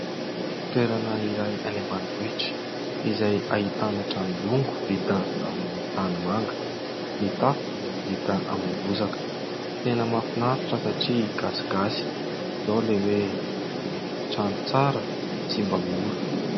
Toerana iray any ambanivohitra izay ahitana trano bongo vita amin'ny tanimanga, ny tafo dia vita amin'ny bozaka, tena mahafinaritra satria gasigasy izao ilay hoe ny trano tsara tsy mba mora.